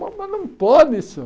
Mas mas não pode isso.